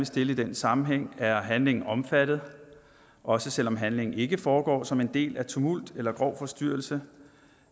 stille i den sammenhæng er handlingen omfattet også selv om handlingen ikke foregår som en del af tumult eller grov forstyrrelse